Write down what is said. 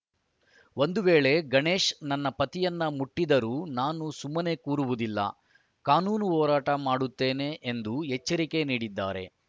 ಒಂದು ವೇಳೆ ಗಣೇಶ್‌ ನನ್ನ ಪತಿಯನ್ನು ಮುಟ್ಟಿದ್ದರೂ ನಾನು ಸುಮ್ಮನೆ ಕೂರುವುದಿಲ್ಲ ಕಾನೂನು ಹೋರಾಟ ಮಾಡುತ್ತೇನೆ ಎಂದು ಎಚ್ಚರಿಕೆ ನೀಡಿದ್ದಾರೆ